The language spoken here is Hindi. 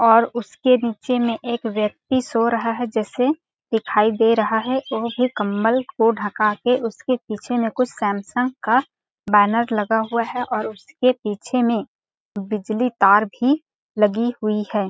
और उसके नीचे में एक व्यक्ति सो रहा है जैसे दिखाई दे रहा है और फिर कम्बल को ढका के उसके पीछे में कुछ सैमसंग का बेनर लगा हुआ है और उसके पीछे में बिजली तार भी लगी हुई है।